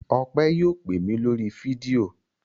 Ọpẹ́ yóò pè mí lórí fídíò.